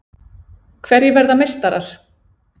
Hverjir verða meistarar?